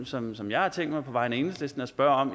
som som jeg har tænkt mig på vegne af enhedslisten at spørge om